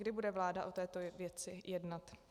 Kdy bude vláda o této věci jednat?